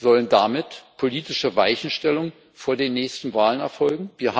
Sollen damit politische Weichenstellungen vor den nächsten Wahlen erfolgen?